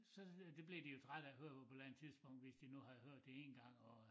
Så det blev de jo trætte af at høre ud på et eller andet tidspunkt hvis de nu havde hørt det én gang og